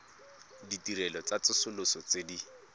ditirelo tsa tsosoloso tse di